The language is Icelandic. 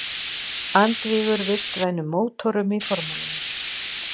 Andvígur vistvænum mótorum í formúlunni